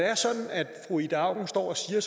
er sådan at fru ida auken står og siger